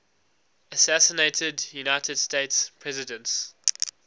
assassinated united states presidents